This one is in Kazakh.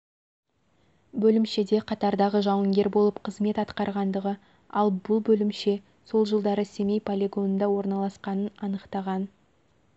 бөлімшеде қатардағы жауынгер болып қызымет атқарғандығы ал бұл бөлімше сол жылдары семей полигонында орналасқанын анықтаған